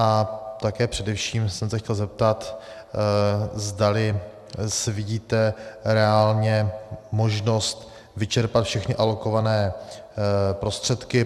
A také především jsem se chtěl zeptat, zdali vidíte reálně možnost vyčerpat všechny alokované prostředky.